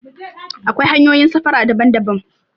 Akwai hanyoyin safara daban daban